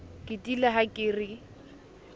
ke tiile ha ke re